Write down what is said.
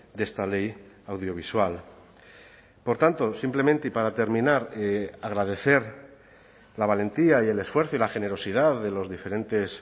de esta ley audiovisual por tanto simplemente y para terminar agradecer la valentía y el esfuerzo y la generosidad de los diferentes